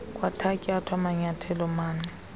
kwathatyathwa manyathelo mani